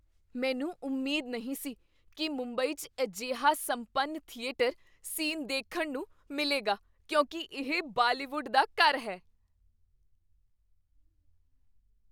ਮੈਨੂੰ ਉਮੀਦ ਨਹੀਂ ਸੀ ਕੀ ਮੁੰਬਈ 'ਚ ਅਜਿਹਾ ਸੰਪੰਨ ਥੀਏਟਰ ਸੀਨ ਦੇਖਣ ਨੂੰ ਮਿਲੇਗਾ ਕਿਉਂਕਿ ਇਹ ਬਾਲੀਵੁੱਡ ਦਾ ਘਰ ਹੈ।